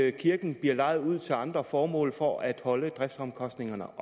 at kirken bliver lejet ud til andre formål for at holde driftsomkostningerne